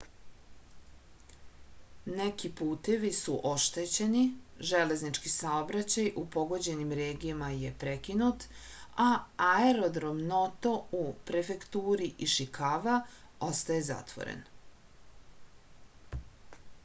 neki putevi su oštećeni železnički saobraćaj u pogođenim regijama je prekinut a aerodrom noto u prefekturi išikava ostaje zatvoren